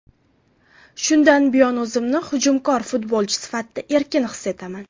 Shundan buyon o‘zimni hujumkor futbolchi sifatida erkin his etaman.